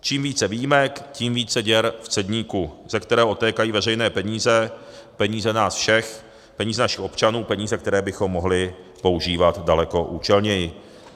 Čím více výjimek, tím více děr v cedníku, ze kterého odtékají veřejné peníze, peníze nás všech, peníze našich občanů, peníze, které bychom mohli používat daleko účelněji.